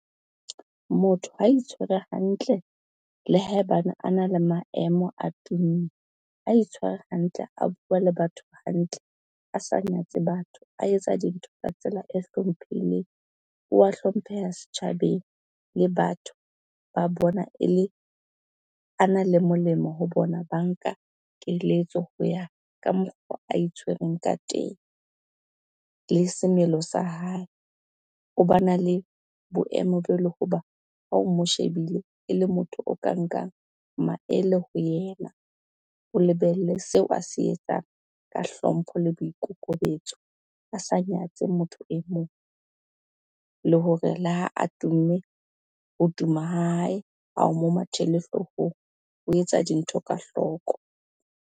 Motho ha itshwere hantle le haebane a na le maemo a tumme, a itshware hantle, a bua le batho hantle, a sa nyatse batho, a etsa dintho ka tsela e hlomphehileng, wa hlompheha setjhabeng le batho ba bona a na le molemo ho bona banka keletso ho ya ka mokgwa a itshwereng ka teng. Le semelo sa hae, o ba na le boemo bo le ho ba ha o mo shebile e le motho o ka nkang maele ho yena o lebelle seo a se etsang ka hlompho le boikokobetso, a sa nyatse motho e mong le hore le ha a tumme ho tuma ha hae, ha o mo mathele hloohong o etsa dintho ka hloko.